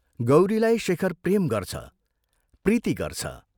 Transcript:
गौरीलाई शेखर प्रेम गर्छ, प्रीति गर्छ।